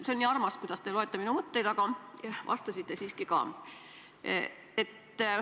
See on nii armas, kuidas te loete minu mõtteid, aga te vastasite siiski ka.